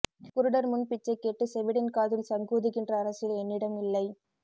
குருடர் முன் பிச்சை கேட்டு செவிடன் காதில் சங்கூதுகின்ற அரசியல் என்னிடம் இல்லை